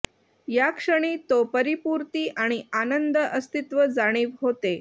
या क्षणी तो परिपूर्ती आणि आनंद अस्तित्व जाणीव होते